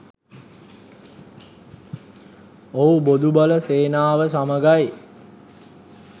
ඔව් බොදු බල සේනාව සමඟයි